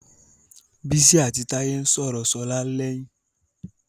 Bísí àti Táyé ń sọ̀rọ̀ Ṣọlá lẹ́yìn.